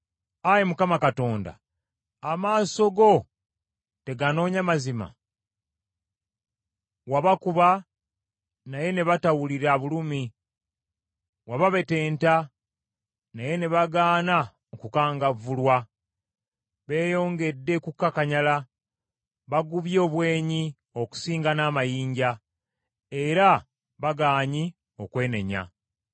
Ayi Mukama Katonda, amaaso go teganoonya mazima? Wabakuba naye ne batawulira bulumi wababetenta, naye ne bagaana okukangavvulwa. Beeyongedde kukakanyala, bagubye obwenyi okusinga n’amayinja; era bagaanyi okwenenya.